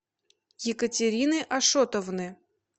екатерины ашотовны